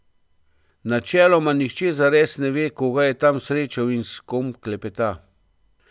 Načeloma nihče zares ne ve, koga je tam srečal in s kom klepeta.